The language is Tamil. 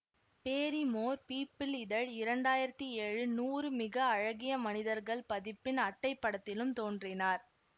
பேரிமோர் பீபிள் இதழ் இரண்டாயிரத்தி ஏழு நூறு மிக அழகிய மனிதர்கள் பதிப்பின் அட்டைப்படத்திலும் தோன்றினார்